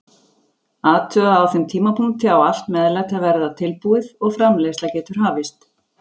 Athugaðu að á þeim tímapunkti á allt meðlæti að vera tilbúið og framreiðsla getur hafist.